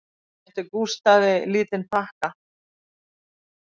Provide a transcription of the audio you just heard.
Hún réttir Gústafi lítinn pakka